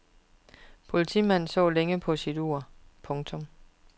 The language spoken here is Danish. Politimanden så længe på sit ur. punktum